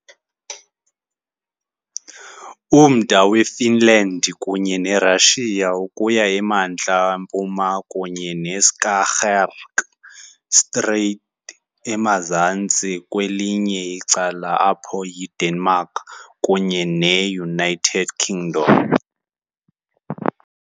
Umda weFinland kunye neRussia ukuya emantla-mpuma kunye neSkagerrak Strait emazantsi, kwelinye icala apho yiDenmark kunye neUnited Kingdom .